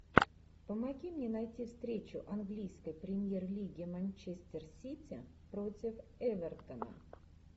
помоги мне найти встречу английской премьер лиги манчестер сити против эвертона